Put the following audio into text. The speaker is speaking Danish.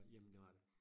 Jamen det var det